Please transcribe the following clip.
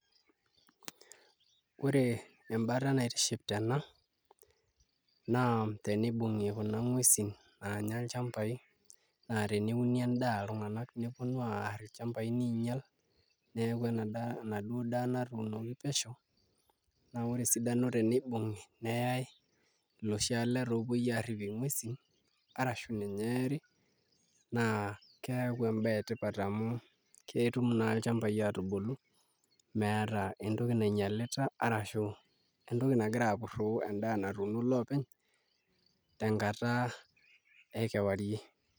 Ore embata naitiship tena naa tenibung'i kuna nguesin naanya ilchambaai aa teneuni endaa iltung'anak neponu aarr ilchambai niinyial neeku enaduo daa natuunoki pesho naa ore esidano tenibung'i neyai iloshi aleta opuoi aaripie nguesi arashu ninye eeri naa keeku embaye etipat amu ketum naa ilchambaai aatubulu meeta entoki nainyialita arashu entoki nagiraapurroo endaa natuuno iloopeny tenkata ekewarie.